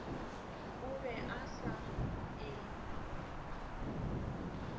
o be a sa e